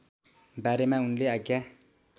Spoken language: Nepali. बारेमा उनले आज्ञा